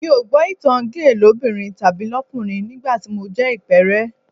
Èmi ò gbọ́ ìtan géè lóbìnrin tàbí lọ́kùnrin nígbà mo jẹ ìpẹ́ẹ́rẹ́